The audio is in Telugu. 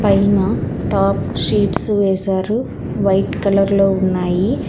పైనా టాప్ షీడ్స్ వేశారు వైట్ కలర్ లో ఉన్నాయి.